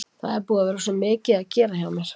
Það er búið að vera svo mikið að gera hjá mér.